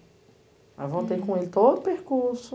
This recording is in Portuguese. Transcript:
avantei com ele todo o percurso,